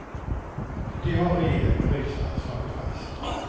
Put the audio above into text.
Det har regering och riksdag slagit fast.